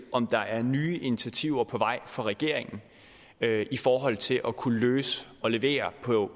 om der er nye initiativer på vej fra regeringen i forhold til at kunne løse og levere